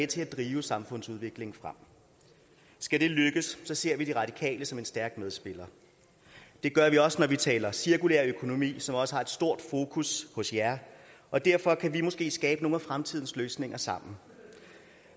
til at drive samfundsudviklingen frem skal det lykkes ser vi de radikale som en stærk medspiller det gør vi også når vi taler cirkulær økonomi som også har et stort fokus hos jer og derfor kan vi måske skabe nogle af fremtidens løsninger sammen